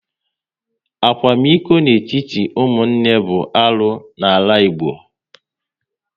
Akwamiko n'etiti ụmụnne bụ arụ n'ala Igbo